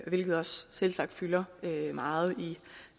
hvilket også selvsagt fylder meget i